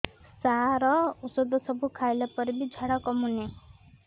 ସାର ଔଷଧ ସବୁ ଖାଇଲା ପରେ ବି ଝାଡା କମୁନି